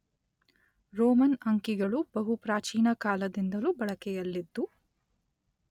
Roman ಅಂಕಿಗಳು ಬಹು ಪ್ರಾಚೀನ ಕಾಲದಿಂದಲೂ ಬಳಕೆಯಲ್ಲಿದ್ದು